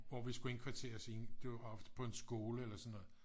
hvor vi skulle indkvarteres det var ofte på en skole eller sådan noget